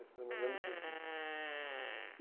Esse era o meu grande objetivo. E